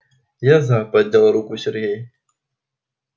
я за поднял руку сергей